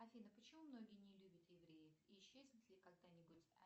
афина почему многие не любят евреев и исчезнет ли когда нибудь